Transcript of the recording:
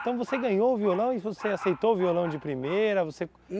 Então, você ganhou o violão e você aceitou o violão de primeira você?